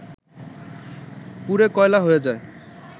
পুড়ে কয়লা হয়ে যায়